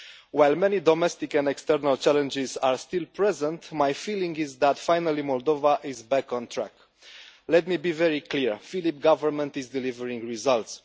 While many domestic and external challenges are still present, my feeling is that finally Moldova is back on track. Let me be very clear, the Filip government is delivering results.